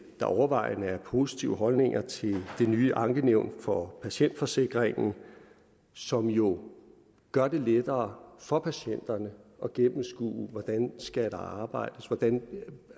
overvejende er positive holdninger til det nye ankenævn for patientforsikringen som jo gør det lettere for patienterne at gennemskue hvordan der skal arbejdes hvordan man